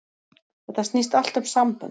Þetta snýst allt um sambönd.